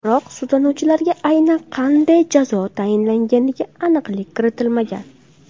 Biroq sudlanuvchilarga aynan qanday jazo tayinlanganiga aniqlik kiritilmagan.